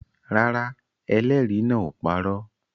Rárá, ẹlẹ́rìí náà ò parọ́